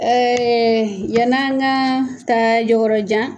Ɛɛ yɛni an ka taa yɔrɔ jan